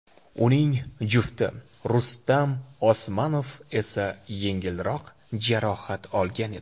Uning jufti Rustam Osmanov esa yengilroq jarohat olgan edi.